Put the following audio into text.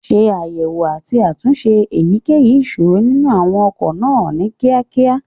ṣe àyẹ̀wò àti àtúnṣe èyíkéyìí ìṣòro nínú àwọn ọkọ̀ náà ní kíákíá.